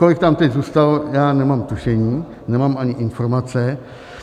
Kolik tam teď zůstalo, já nemám tušení, nemám ani informace.